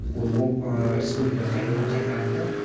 ол республикаға қайтадан қайтарылды